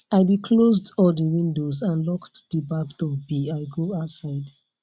i be closed all de windows and locked de back door be i go outside